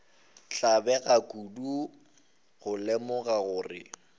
tlabega kudu go lemoga gore